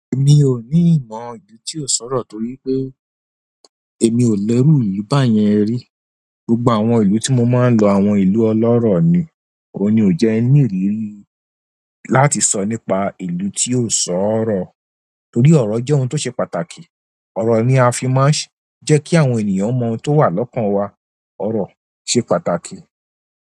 Èmi ò ní ìmọ̀ ìlú tí ò sọ̀rọ̀ torí pé èmi ò lẹru ìlú báyẹn rí. Gbogbo àwọn ìlú tí mo máa ń lọ, àwọn ìlú ọlọ́rọ̀ ni. Òun ní ò jẹ́ ní ìrírí láti sọ nípa ìlú tí ò sọ̀rọ̀ torí ọ̀rọ̀ jẹ́ ohun tó ṣe pàtàkì. Ọ̀rọ̀ ni a fi máa ń jẹ́ kí àwọn ènìyàn mọ ohun tó wà lọ́kàn wa. Ọ̀rọ̀ ṣe pàtàkì.